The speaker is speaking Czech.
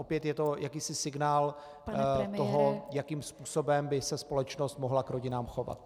Opět je to jakýsi signál toho, jakým způsobem by se společnost mohla k rodinám chovat.